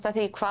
hvað